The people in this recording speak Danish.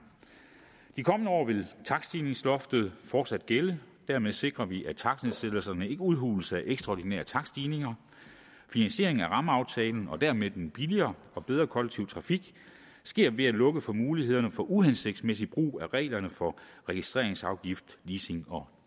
de kommende år vil takststigningsloftet fortsat gælde og dermed sikrer vi at takstnedsættelserne ikke udhules af ekstraordinære takststigninger finansiering af rammeaftalen og dermed den billigere og bedre kollektive trafik sker ved at lukke for mulighederne for uhensigtsmæssig brug af reglerne for registreringsafgift leasing og